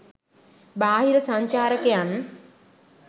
බාහිර සංචාරකයන්